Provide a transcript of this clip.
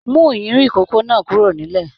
Mú iyùnyin ikòkò náà kúrò nílẹ̀!